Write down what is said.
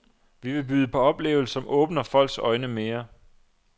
Vi vil byde på oplevelser, som åbner folks øjne mere.